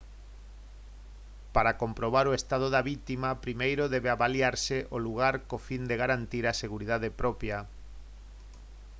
para comprobar o estado da vítima primeiro debe avaliarse o lugar co fin de garantir a seguridade propia